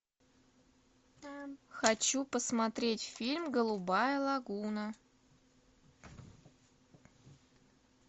хочу посмотреть фильм голубая лагуна